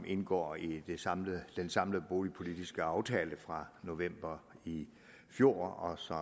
indgår i den samlede den samlede boligpolitiske aftale fra november i fjor som